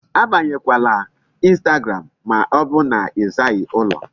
Abanyekwala Instagram ma ọ bụ na ị zaghị ụlọ.